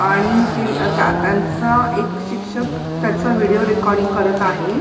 आणि ते अ त्या त्यांच एक शिक्षक त्याच व्हिडिओ रेकॉर्डिंग करत आहे.